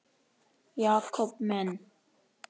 Jakob minn.